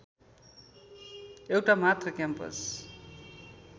एउटा मात्र क्याम्पस